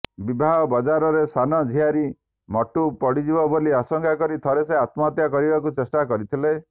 ବିବାହ ବଜାରରେ ସାନ ଝିଆରୀ ମଟୁ ପଡ଼ିଯିବ ବୋଲି ଆଶଙ୍କା କରି ଥରେ ସେ ଆତ୍ମହତ୍ୟା କରିବାକୁ ଚେଷ୍ଟା କରିଥିଲା